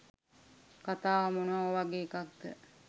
කතාව මොනවගේ එකක්ද